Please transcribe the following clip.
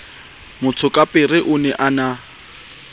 motsokapere o ne a na